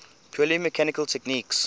purely mechanical techniques